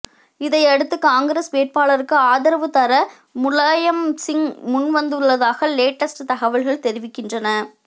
இதையடுத்து காங்கிரஸ் வேட்பாளருக்கு ஆதரவு தர முலாயம் சிங் முன் வந்துள்ளதாக லேட்டஸ்ட் தகவல்கள் தெரிவிக்கின்றன